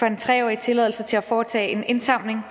en tre årig tilladelse til at foretage en indsamling